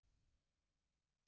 Síðan eru liðin tvö ár.